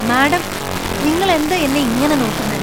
Madam നിങ്ങളെന്താ എന്നെ ഇങ്ങനെ നോക്കുന്നേ?